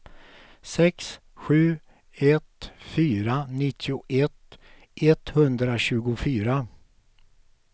sex sju ett fyra nittioett etthundratjugofyra